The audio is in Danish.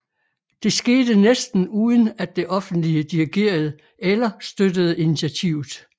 Det skete næsten uden at det offentlige dirigerede eller støttede initiativet